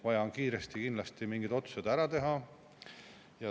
Vaja on kiiresti kindlasti mingid otsused ära teha.